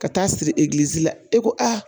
Ka taa siri la e ko a